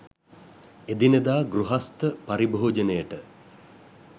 එදිනෙදා ගෘහස්ථ පරිභෝජනයට